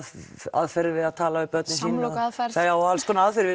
aðferðir við að tala við börnin sín samlokuaðferð já og alls konar aðferðir